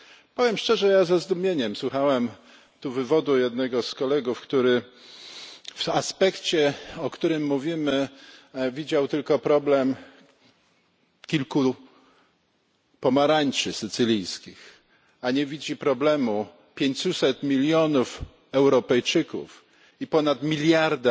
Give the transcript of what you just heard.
Powiem szczerze, ja ze zdumieniem słuchałem tu wywodu jednego z kolegów, który w aspekcie, o którym mówimy, widział tylko problem kilku pomarańczy sycylijskich, a nie widzi problemu 500 milionów Europejczyków i ponad miliarda